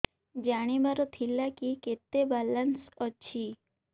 ଜାଣିବାର ଥିଲା କି କେତେ ବାଲାନ୍ସ ଅଛି